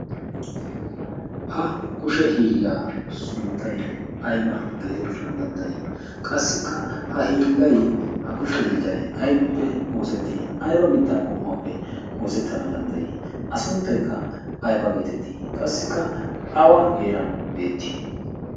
ha kushe hiillaa sunttay ayba geetettana danddayii? Qassikka ha hiillay ha kushe hiillay aybippe oosettii? Ayba mittaa qommuwaappe oosettana danddayii? A sunttaykka ayba geetettii? Qassikka awa heeran beettii?